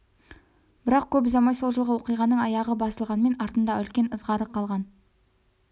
бірақ көп ұзамай сол жылғы оқиғаның аяғы басылғанмен артында үлкен ызғары қалған